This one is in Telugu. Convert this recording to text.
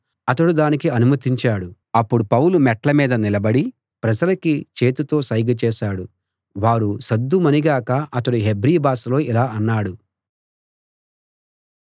అతడు దానికి అనుమతించాడు అప్పుడు పౌలు మెట్ల మీద నిలబడి ప్రజలకి చేతితో సైగ చేశాడు వారు సద్దుమణిగాక అతడు హెబ్రీ భాషలో ఇలా అన్నాడు